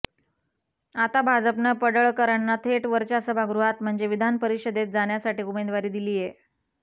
आता भाजपनं पडळकरांना थेट वरच्या सभागृहात म्हणजे विधानपरिषदेत जाण्यासाठी उमेदवारी दिलीय